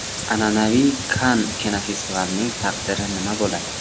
An’anaviy Kann kinofestivalining taqdiri nima bo‘ladi?.